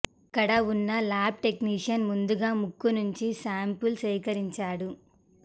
అక్కడ ఉన్న lab technician ముందుగా ముక్కు నుంచి శ్యాంపిల్ సేకరించాడు